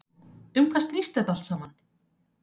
Um hvað snýst þetta allt saman?